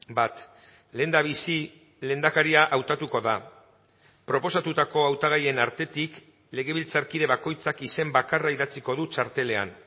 bat lehendabizi lehendakaria hautatuko da proposatutako hautagaien artetik legebiltzarkide bakoitzak izen bakarra idatziko du txartelean